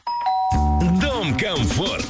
дом комфорт